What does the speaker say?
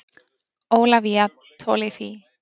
Ólafía Tolafie.